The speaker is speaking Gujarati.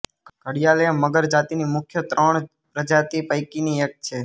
ઘડિયાલએ મગર જાતિની મુખ્ય ત્રણ પ્રજાતિ પૈકીની એક છે